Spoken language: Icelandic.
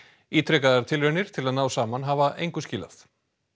ítrekaðar tilraunir til að ná saman hafa engu skilað